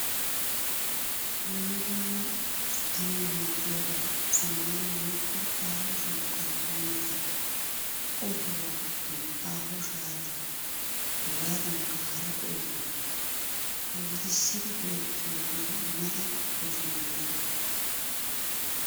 Dumma dumma usttanawu maadiyabata zamaana woykko aaho shooqay baynasan ottuwaa giddon aaho shaatiyan hegadankka hara ogiyan puutisidi go'ettiyoge mata wodiyan yiidaba.